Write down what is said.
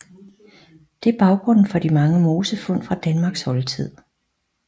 Det er baggrunden for de mange mosefund fra Danmarks oldtid